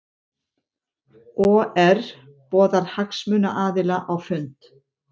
OR boðar hagsmunaaðila á fund